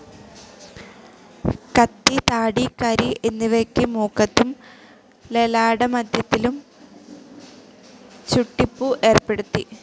കത്തി, താടി, കരി എന്നിവയ്ക്ക് മൂക്കത്തും ലലാടമധ്യത്തിലും ചുട്ടിപ്പൂ ഏർപ്പെടുത്തി.